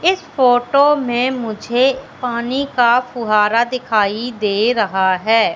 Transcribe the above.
इस फोटो में मुझे पानी का फुहारा दिखाई दे रहा है।